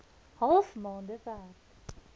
half maande werk